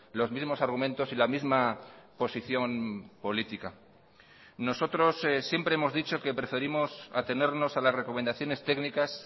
los mismos argumentos y la misma posición política nosotros siempre hemos dicho que preferimos atenernos a las recomendaciones técnicas